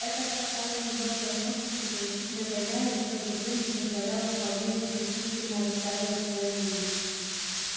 это спасало её от возможности получить нагоняй и в то же время позволяло вполне недвусмысленно высказывать своё мнение